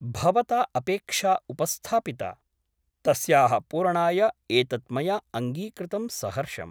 भवता अपेक्षा उपस्थापिता । तस्याः पूरणाय एतत् मया अङ्गीकृतं सहर्षम् ।